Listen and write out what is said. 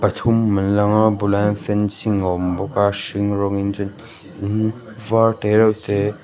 pathum an lang a bulah hian fencing a awm bawk a hring rawng in chuan in var te reuh te--